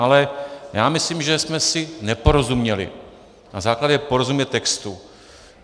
Ale já myslím, že jsme si neporozuměli, na základě porozumět textu.